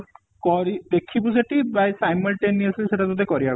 କରି ଦେଖିବୁ ଯେତିକି by simultaneously ସେଇଟା ତତେ କରିଆକୁ ପଡିବ